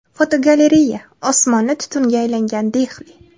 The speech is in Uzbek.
Fotogalereya: Osmoni tutunga aylangan Dehli.